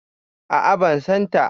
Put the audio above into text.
A'a ban san ta